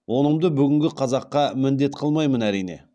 онымды бүгінгі қазаққа міндет қылмаймын әрине